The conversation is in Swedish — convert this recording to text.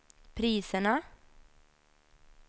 priserna